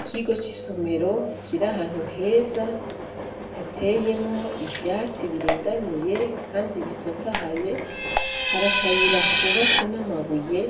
Ikigo c'isomero kiri ahantu heza hateyemwo ivyatsi biringaniye Kandi bitotahaye, hari akayira kubatse n'amabuye